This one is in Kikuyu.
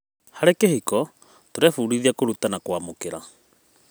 Harĩ kĩhiko, tũrebundithia kũruta na kwamũkĩra.